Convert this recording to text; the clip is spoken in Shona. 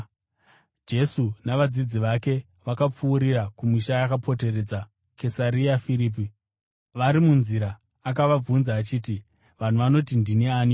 Jesu navadzidzi vake vakapfuurira kumisha yakapoteredza Kesaria Firipi. Vari munzira akavabvunza achiti, “Vanhu vanoti ndini aniko?”